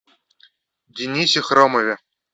денисе хромове